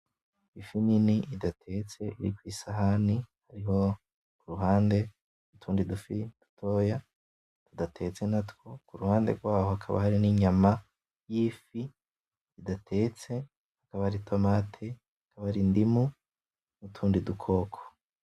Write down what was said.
Ifi nini idatetse iri kwisahani, hariho kuruhande udufi dutoya tudatetse natwo kuruhande rwaho haka hari ninyama yifi idatetse hakaba hari itomati, hakaba hari indimu nutundi dukoko